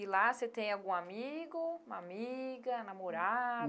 E lá você tem algum amigo, uma amiga, namorada?